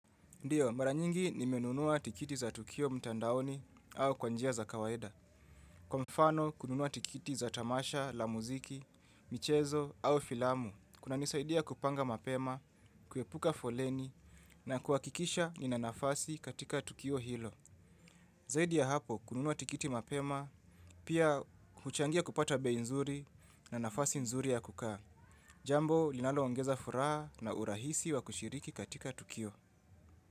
Ndiyo, mara nyingi nimenunua tikiti za Tukio mtandaoni au kwa njia za kawaida. Kwa mfano kununua tikiti za tamasha, la muziki, michezo au filamu, kuna nisaidia kupanga mapema, kuepuka foleni na kuhakikisha nina nafasi katika Tukio hilo. Zaidi ya hapo kununua tikiti mapema, pia huchangia kupata bei nzuri na nafasi nzuri ya kukaa. Jambo, linalo ongeza furaha na urahisi wa kushiriki katika Tukio.